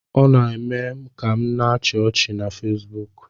Ọ na-eme m ka m na -achi ọchị na Fesbuk